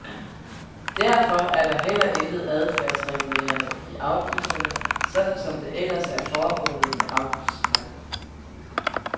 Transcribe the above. Derfor er der heller intet adfærdsregulerende i afgifterne, sådan som det ellers er formålet med afgiftspakken.